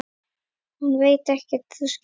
Hann veit ekkert. þú skilur.